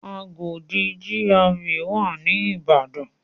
Agodi GRA wà ní Ìbàdàn.